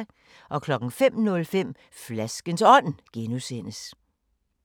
05:05: Flaskens Ånd (G)